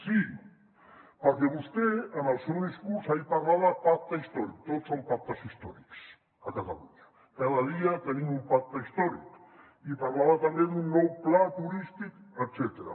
sí perquè vostè en el seu discurs ahir parlava de pacte històric tot són pactes històrics a catalunya cada dia tenim un pacte històric i parlava també d’un nou pla turístic etcètera